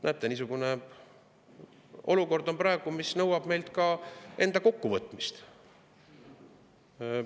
Näete, niisugune olukord on praegu, see nõuab meilt ka enda kokkuvõtmist.